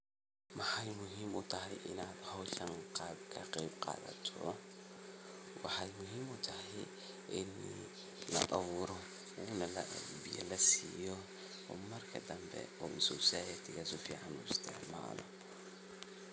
Maxay muhim u tahay Ina hooshan kaqebqathatoh waxay muhim u tahay Ina la abuurtoh biya lassiyoh oo marka dambi society sufican u istcmaloh.